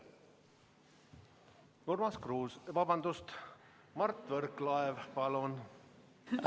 Urmas Kruuse, vabandust, Mart Võrklaev, palun!